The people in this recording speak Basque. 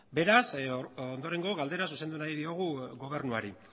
beraz ondorengo galdera zuzendu nahi diogu gobernuari